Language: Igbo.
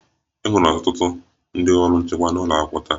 E nwere ọtụtụ ndị ọrụ nchekwa n'ụlọ akwụkwọ taa